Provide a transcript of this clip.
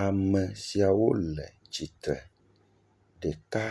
Ame siawo le tsi tre. Ɖeka